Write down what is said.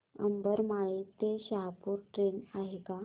उंबरमाळी ते शहापूर ट्रेन आहे का